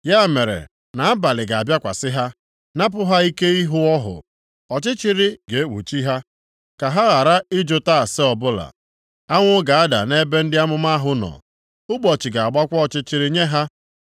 Ya mere nʼabalị ga-abịakwasị ha, napụ ha ike ịhụ ọhụ; ọchịchịrị ga-ekpuchi ha, ka ha ghara ịjụta ase ọbụla. Anwụ ga-ada nʼebe ndị amụma ahụ nọ, ụbọchị ga-agbakwa ọchịchịrị nye ha.